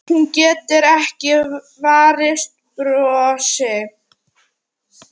Hún getur ekki varist brosi.